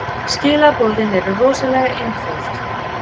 Skilaboðin eru rosalega einföld.